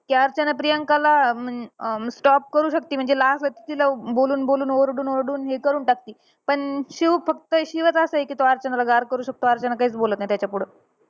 ती अर्चना प्रियांकाला अं म्हण drop करू शकते म्हणजे असं तिला बोलून बोलून ओरडून ओरडून हे करून टाकती. पण शिव फक्त शिवचं असंय कि तो अर्चनाला गार करू शकतो. अर्चना काहीच बोलत नाही त्याच्यापुढं.